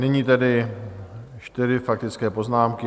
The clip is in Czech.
Nyní tedy čtyři faktické poznámky.